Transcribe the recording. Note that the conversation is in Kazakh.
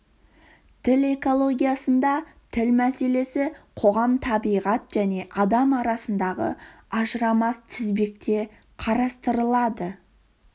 тіл экологиясында тіл мәселесі қоғам табиғат және адам арасындағы ажырамас тізбекте қарастырылады